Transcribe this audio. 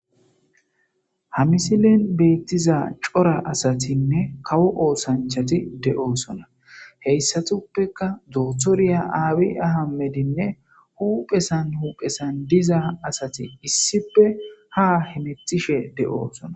ha misilen beettiza cora asatinne kawo oosanchati de7oosona heyssatuppeka doothoriya aawi aha medinne huphesan huphesan diza asati issipe ha hemetishe de7oosona